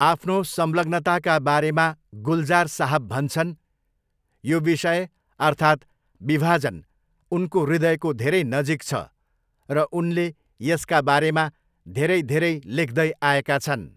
आफ्नो संलग्नताका बारेमा, गुलजार साहब भन्छन्, 'यो विषय अर्थात् विभाजन उनको हृदयको धेरै नजिक छ' र उनले 'यसका बारेमा धेरै धेरै लेख्दै आएका छन्।